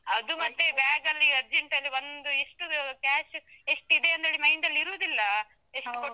ಅದು ಮತ್ತೆ bag ಅಲ್ಲಿ urgent ಅಲ್ಲಿ ಒಂದ್ ಇಷ್ಟು cash ಎಷ್ಟಿದೆ ಅಂತೇಳಿ mind ಅಲ್ಲಿ ಇರುದಿಲ್ಲಾ.